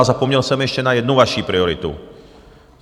A zapomněl jsem ještě na jednu vaši prioritu.